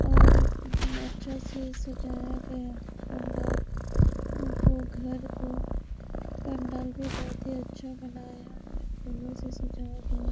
और अच्छा से सजाया गया है पंडाल उनको घर को पंडाल भी बहोत ही अच्छा बनाया है फूलों से सजाया गया--